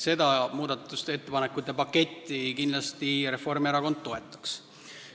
Seda muudatusettepanekute paketti Reformierakond kindlasti toetaks.